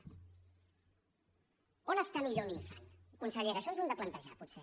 on està millor un infant consellera això ens ho hem de plantejar potser